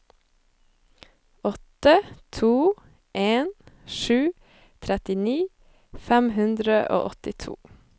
åtte to en sju trettini fem hundre og åttito